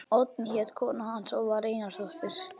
Oddný hét kona hans og var Einarsdóttir.